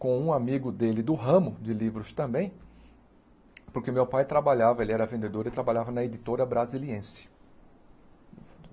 com um amigo dele do ramo de livros também, porque meu pai trabalhava, ele era vendedor e trabalhava na editora brasiliense.